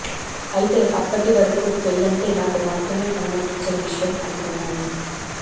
అయితే అప్పటి వరకు పెళ్లంటే నాకు మాత్రమే సంబంధించిన విషయం అనుకున్నాను